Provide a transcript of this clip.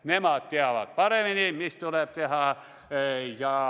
Nemad teavad paremini, mida tuleb teha.